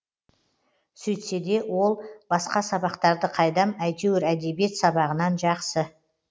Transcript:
сөйтсе де ол басқа сабақтарды қайдам әйтеуір әдебиет сабағынан жақсы